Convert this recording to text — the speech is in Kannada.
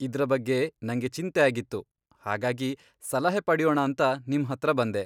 ಇದ್ರ ಬಗ್ಗೆ ನಂಗೆ ಚಿಂತೆ ಆಗಿತ್ತು, ಹಾಗಾಗಿ ಸಲಹೆ ಪಡ್ಯೋಣ ಅಂತ ನಿಮ್ಹತ್ರ ಬಂದೆ.